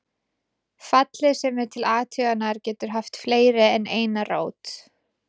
Fallið sem er til athugunar getur haft fleiri en eina rót.